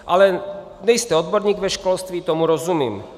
Ale nejste odborník ve školství, tomu rozumím.